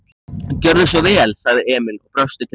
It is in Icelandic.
Gjörðu svo vel, sagði Emil og brosti til mannsins.